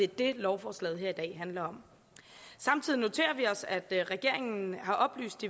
det lovforslaget her i dag handler om samtidig noterer vi os at regeringen har oplyst